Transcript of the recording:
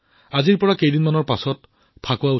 হোলী উৎসৱ আজিৰ পৰা মাত্ৰ কেইদিনমানৰ পিছত